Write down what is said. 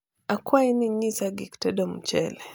akwayo ni inyisa gik tedo mchele